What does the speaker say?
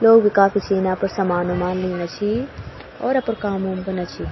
लोग काफी छीं यापर सामान-उमान लीना छी और अपर काम-उम कना छी।